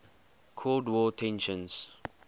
cold war tensions